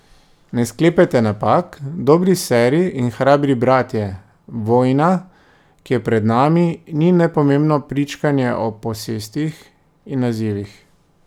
Ne sklepajte napak, dobri seri in hrabri bratje, vojna, ki je pred nami, ni nepomembno pričkanje o posestih in nazivih.